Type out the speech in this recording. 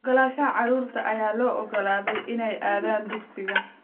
Ogolaanshaha carruurta ayaa loo ogolaaday inay aadaan dugsiga